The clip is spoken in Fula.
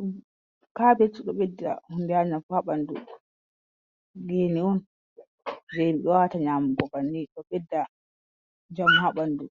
nymkabetugabidda hundyanam fabandu geni'un gembiwata nyamu gobanni dabidda jam habandu.